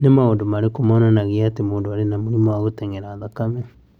Nĩ maũndũ marĩkũ monanagia atĩ mũndũ arĩ na mũrimũ wa Hydatidiform mole?